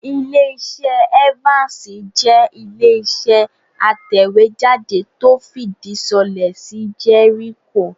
Ilẹ́-iṣẹ́ Evans jẹ́ Ilé-iṣẹ́ atẹ̀wéjáde tó fìdí sọlẹ̀ sí Jericho